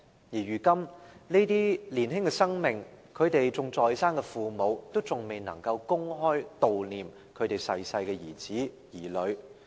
如今，對於這些年青的生命，他們仍然在生的父母，依然未能公開悼念已逝世的兒子、女兒。